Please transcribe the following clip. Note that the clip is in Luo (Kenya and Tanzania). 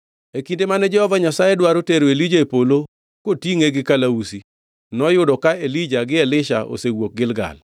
E kinde mane Jehova Nyasaye dwaro tero Elija e polo kotingʼe gi kalausi, noyudo ka Elija gi Elisha osewuok Gilgal.